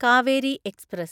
Kaveri express